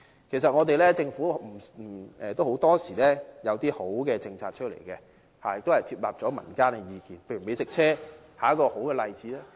其實，政府很多時也有推出良好的政策，亦接納了民間的意見，美食車便是一個好例子。